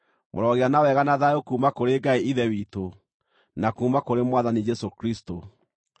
Mũrogĩa na wega na thayũ kuuma kũrĩ Ngai Ithe witũ, na kuuma kũrĩ Mwathani Jesũ Kristũ.